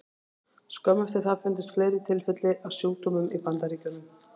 Skömmu eftir það fundust fleiri tilfelli af sjúkdómnum í Bandaríkjunum.